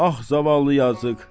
Ax, zavallı yazıq.